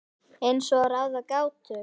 Eins og að ráða gátu.